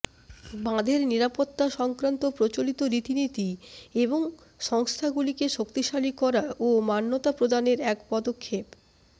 বাঁধের নিরাপত্তা সংক্রান্ত প্রচলিত রীতিনীতি এবং সংস্হাগুলিকে শক্তিশালী করা ও মান্যতা প্রদানের এক পদক্ষেপ